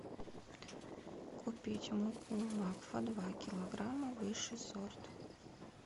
купить муку макфа два килограмма высший сорт